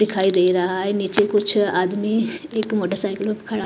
दिखाई दे रहा है नीचे कुछ आदमी एक मोटरसाइकिल ।